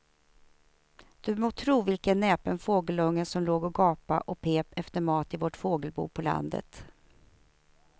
Du må tro vilken näpen fågelunge som låg och gapade och pep efter mat i vårt fågelbo på landet.